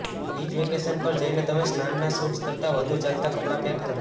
beach vacation પર જઈને તમે સ્નાનનાં સુટ્સ કરતા વધુ ચાલતા કપડા પૅક કરો